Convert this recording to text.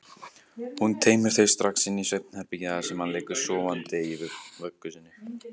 Hún teymir þau strax inn í svefnherbergi þar sem hann liggur sofandi í vöggu sinni.